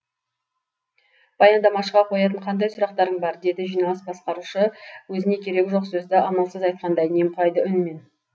баяндамашыға қоятын қандай сұрақтарың бар деді жиналыс басқарушы өзіне керегі жоқ сөзді амалсыз айтқандай немқұрайды үнмен